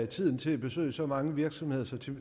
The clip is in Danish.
tiden til at besøge så mange virksomheder